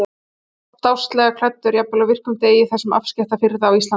Hann var stásslega klæddur, jafnvel á virkum degi í þessum afskekkta firði á Íslandi.